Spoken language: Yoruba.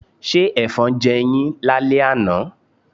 Ṣé Ẹ̀fọn jẹ yín lálẹ́ àná?